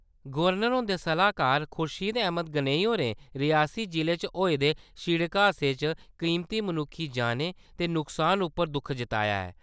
Governor हुंदे सलाहकार खुर्शीद अहमद गनई होरें रियासी जिले च होए दे सिड़क हादसे च कीमती मनुक्खी जानें दे नुक्सान उप्पर दुक्ख जताया ऐ।